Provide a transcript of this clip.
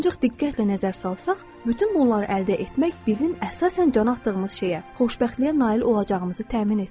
Ancaq diqqətlə nəzər salsaq, bütün bunları əldə etmək bizim əsasən can atdığımız şeyə, xoşbəxtliyə nail olacağımızı təmin etmir.